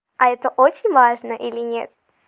а это очень важно или нет